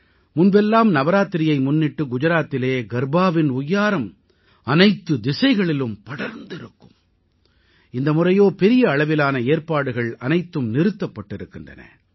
முன்பெல்லாம் நவராத்திரியை முன்னிட்டு குஜாராத்திலே கர்பாவின் ஒய்யாரம் அனைத்துத் திசைகளிலும் படர்ந்திருக்கும் இந்த முறையோ பெரிய அளவிலான ஏற்பாடுகள் அனைத்தும் நிறுத்தப்பட்டிருக்கின்றன